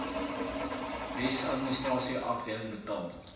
wetsadministrasie afdeling betaal